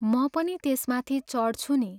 म पनि त्यसमाथि चढ्छु नि।